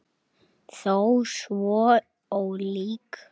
Þó svo ólík.